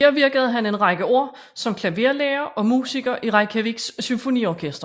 Her virkede han en række år som klaverlærer og musiker i Reykjaviks Symfoniorkester